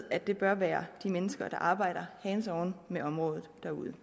at det bør være de mennesker der arbejder hands on med området derude